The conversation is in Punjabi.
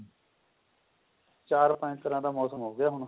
ਚਾਰ ਪੰਜ ਤਰ੍ਹਾਂ ਦਾ ਮੋਸਮ ਹੋ ਗਿਆ ਹੁਣ